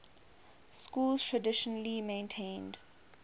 schools traditionally maintained